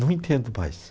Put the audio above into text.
Não entendo mais.